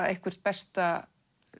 eitthvert besta